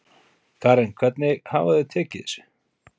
Karen hvernig hafa þau tekið þessu?